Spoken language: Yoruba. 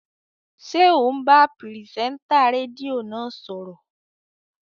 Ṣé ò ń bá pìrìsẹ́ńtà rédíò náà sọ̀rọ̀?